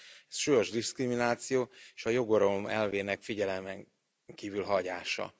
Ez súlyos diszkrimináció és a joguralom elvének figyelmen kívül hagyása.